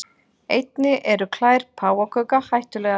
Einnig eru klær páfagauka hættulegar.